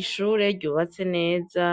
Ishure ryubatse neza